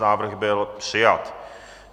Návrh byl přijat.